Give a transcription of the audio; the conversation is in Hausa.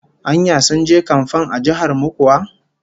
Anya sun je kamfan a jihar mu kuwa?